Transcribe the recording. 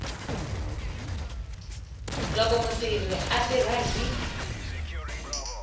loko mutirhi a tirha hi